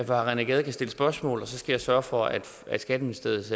herre rené gade kan stille spørgsmål og så skal jeg sørge for at skatteministeriets